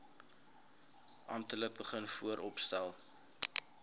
amptelik begin vooropstel